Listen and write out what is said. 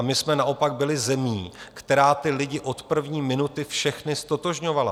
A my jsme naopak byli zemí, která ty lidi od první minuty všechny ztotožňovala.